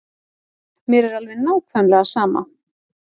Mér er alveg nákvæmlega sama.